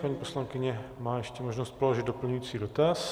Paní poslankyně má ještě možnost položit doplňující dotaz.